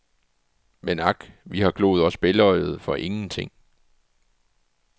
Men ak, vi har gloet os bælgøjede for ingenting.